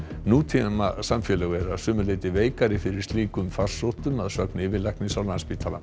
nútímasamfélög eru að sumu leyti veikari fyrir slíkum farsóttum að sögn yfirlæknis á Landspítala